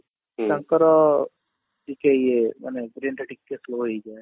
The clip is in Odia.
ତାଙ୍କର ଟିକେ ଇଏ ମାନେ brain ଟା ଟିକେ slow ହେଇଯାଏ